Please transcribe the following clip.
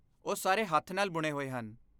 ਉਹ ਸਾਰੇ ਹੱਥ ਨਾਲ ਬੁਣੇ ਹੋਏ ਹਨ।